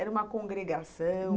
Era uma congregação?